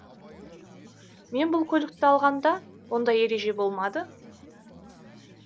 мен бұл көлікті алғанда ондай ереже болмады